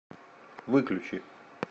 выключи